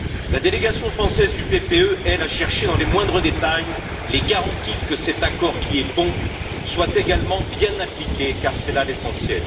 La délégation française du PPE, elle, a cherché dans les moindres détails les garanties que cet accord, qui est bon, soit également bien appliqué, car c'est là l'essentiel.